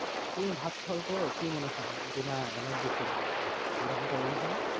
তুমি ভাত খাবার পর কি মনে হয় যে না energy ফিরে আসলো, এরকমটা মনে হয় না?